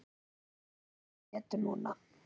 Vonandi líður þér betur núna.